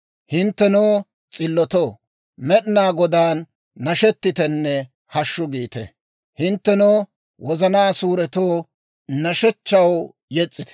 Hinttenoo, s'illotoo, Med'inaa Godaan nashetitenne «Hashshu!» giite; hinttenoo, wozanaa suuretoo, nashshechchaw yes's'ite.